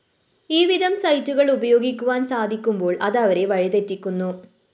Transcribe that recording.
ഈവിധം സൈറ്റുകള്‍ ഉപയോഗിക്കുവാന്‍ സാധിക്കുമ്പോള്‍ അത് അവരെ വഴിതെറ്റിക്കുന്നു